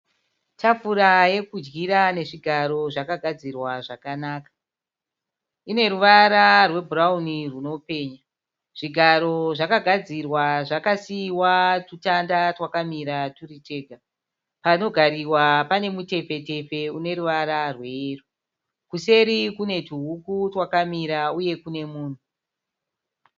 Tafura yokudyira nezvigaro zvakagadzirwa zvakanaka. Ine ruvara rwebhurawuni runopenya. Zvigaro zvakagadzirwa zvakasiiwa tutanda twakamira turi tega. Panogariwa pane mutefetefe une ruvara rweyero. Kuseri kune tuhuku twakamira uye kune munhu.